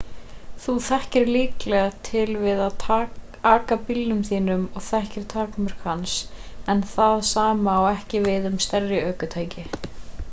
þú þekkir líklega til við að aka bílnum þínum og þekkir takmörk hans en það sam á ekki við um stærri ökutæki